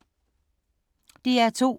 DR2